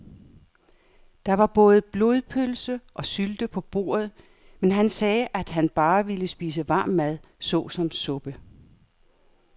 Der var både blodpølse og sylte på bordet, men han sagde, at han bare ville spise varm mad såsom suppe.